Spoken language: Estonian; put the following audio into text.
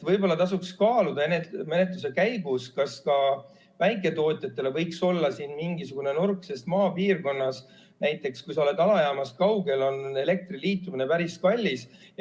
Võib-olla tasuks kaaluda menetluse käigus, kas ka väiketootjatele võiks olla siin mingisugune nurk, sest maapiirkonnas, näiteks kui sa oled alajaamast kaugel, on elektriliitumine päris kallis.